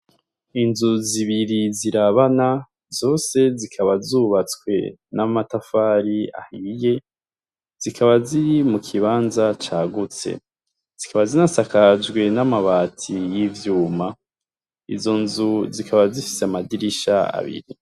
Inzu zibiri zirabana, zose zikaba zubatswe n' amatafari ahiye, zikaba ziri mukibanza cagutse, zikaba zinasakaje n'amabati y'ivyuma. Izo nzu zikaba zifise amadirisha abiri.